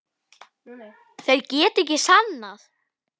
Þeir geta ekkert sannað.